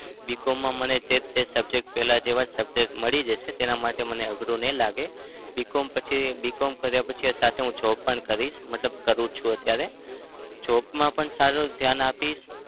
BCom માં મને જે તે subject પેલા જેવા જ subject મળી જશે. તેના માટે મને અઘરું નઈ લાગે. BCom પછી BCom કર્યા પછી સાથે job પણ કરીશ. મતલબ કરું છું અત્યારે. job માં પણ સારું ધ્યાન આપીશ